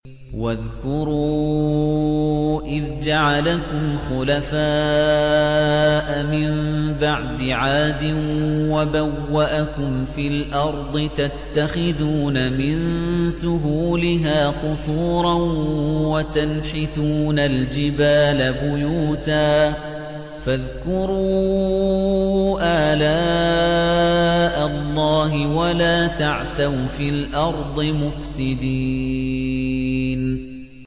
وَاذْكُرُوا إِذْ جَعَلَكُمْ خُلَفَاءَ مِن بَعْدِ عَادٍ وَبَوَّأَكُمْ فِي الْأَرْضِ تَتَّخِذُونَ مِن سُهُولِهَا قُصُورًا وَتَنْحِتُونَ الْجِبَالَ بُيُوتًا ۖ فَاذْكُرُوا آلَاءَ اللَّهِ وَلَا تَعْثَوْا فِي الْأَرْضِ مُفْسِدِينَ